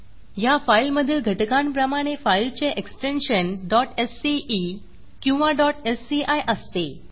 ह्या फाईलमधील घटकांप्रमाणे फाईलचे एक्सटेन्शन sce किंवा sci असते